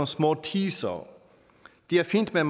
små teasere det er fint men